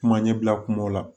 Kuma ɲɛbila kumaw la